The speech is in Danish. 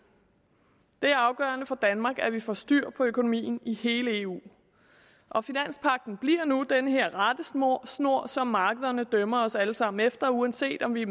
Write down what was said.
det er afgørende for danmark at vi får styr på økonomien i hele eu og finanspagten bliver nu den her rettesnor som markederne dømmer os alle sammen efter uanset om vi